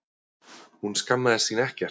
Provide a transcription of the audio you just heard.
Hún skammaðist sín ekkert.